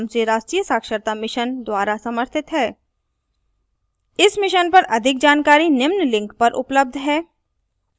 इस mission पर अधिक जानकारी निम्न लिंक पर उपलब्ध है